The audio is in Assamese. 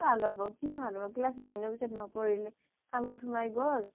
কি ভাল হব, কি ভাল হব class nine ৰ পিছত নপঢ়িলে কামত সোমাই গ'ল